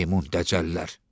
Meymun təcəllər.